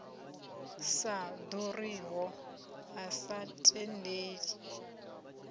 sa ḓuriho a sa tendeli